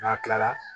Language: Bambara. N'a kilala